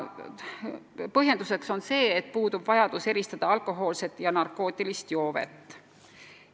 Põhjendus on selline, et puudub vajadus eristada alkohoolset ja narkootilist joovet.